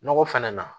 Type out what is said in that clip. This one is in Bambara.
Nɔgɔ fɛnɛ na